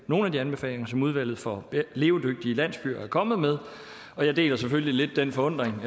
nogle af de anbefalinger som udvalget for levedygtige landsbyer er kommet med og jeg deler selvfølgelig lidt den forundring